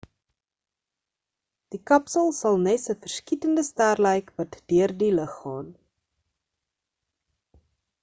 die kapsel sal nes 'n verskietende ster lyk wat deur die lug gaan